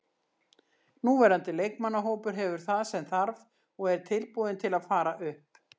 Núverandi leikmannahópur hefur það sem þarf og er tilbúinn til að fara upp.